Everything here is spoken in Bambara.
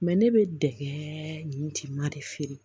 ne bɛ dɛgɛ nin tin ma de feere